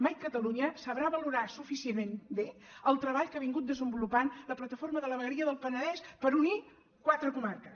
mai catalunya sabrà valorar suficientment bé el treball que ha vingut desenvolupant la plataforma de la vegueria del penedès per unir quatre comarques